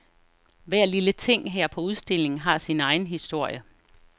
Hver lille ting her på udstillingen har sin egen historie.